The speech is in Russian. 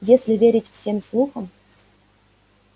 если верить всем слухам